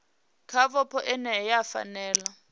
kha vhupo ine ya fanela